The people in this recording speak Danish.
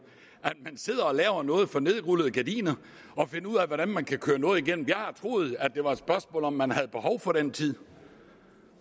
at man sidder og laver noget for nedrullede gardiner og finder ud af hvordan man kan køre noget igennem jeg har troet at det var et spørgsmål om at man havde behov for den tid